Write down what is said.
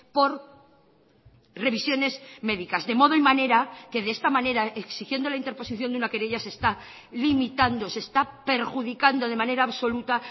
por revisiones médicas de modo y manera que de esta manera exigiendo la interposición de una querella se está limitando se está perjudicando de manera absoluta